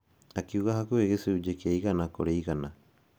Akiuga hakuhĩ gĩcunjĩ kĩa ĩgana kũrĩ igana.